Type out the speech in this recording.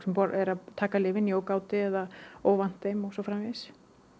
er að taka lyfin í ógáti eða óvant þeim og svo framvegis